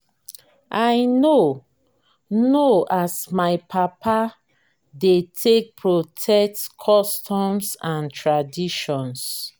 i know know as my papa dey take protect customs and traditions.